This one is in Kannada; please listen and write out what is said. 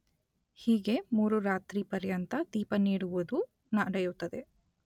ಹೀಗೆ ಮೂರು ರಾತ್ರಿ ಪರ್ಯಂತ ದೀಪ ನೀಡುವುದು ನಡೆಯುತ್ತದೆ.